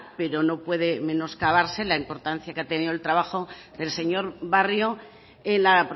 pero no puede menoscabarse la importancia que ha tenido el trabajo del señor barrio en la